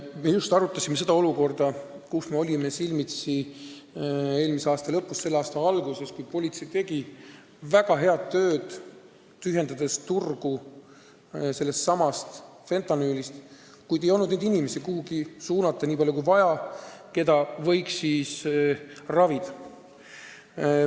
Me arutasime seda olukorda, millega me olime silmitsi eelmise aasta lõpus ja selle aasta alguses, kui politsei tegi väga head tööd, tühjendades turgu sellestsamast fentanüülist, kuid ei olnud võimalik nii palju kui vaja suunata neid ravi vajavaid inimesi kuhugi, kus neid saaks ravida.